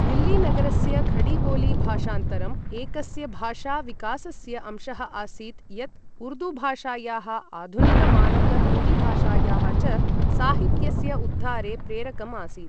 दिल्ली नगरस्य खडीबोली भाषान्तरम् एकस्य भाषा विकासस्य अंशः आसीत् यत् उर्दू भाषायाः आधुनिक मानक हिन्दीभाषायाः च साहित्यस्य उद्धारे प्रेरकम् आसीत्।